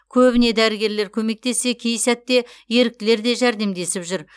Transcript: көбіне дәрігерлер көмектессе кей сәтте еріктілер де жәрдемдесіп жүр